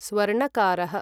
स्वर्णकारः